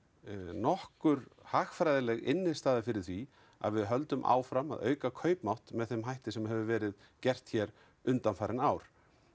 nokkur hagfræðileg innistæða fyrir því að við höldum áfram að auka kaupmátt með þeim hætti sem hefur verið gert hér undanfarin ár